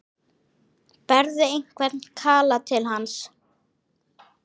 Berðu einhvern kala til hans?